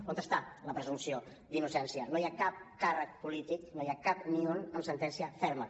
on està la presumpció d’innocència no hi ha cap càrrec polític no n’hi ha cap ni un amb sentència ferma